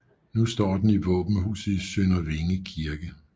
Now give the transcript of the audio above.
Nu står den i våbenhuset i Sønder Vinge Kirke